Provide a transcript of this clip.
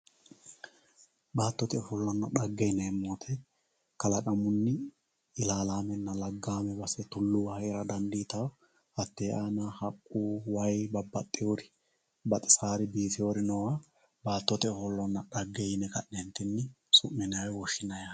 Baatote ofolonna xage yineemo woyite kalaqamunni illaalamenna, lagame base tuluwa heera daniditawo hatee aana haqqu wayi babaxiwori baxisawoori biifawoori noowa baatote ofolonna xage yine su'minayi woyi woshinayi yaate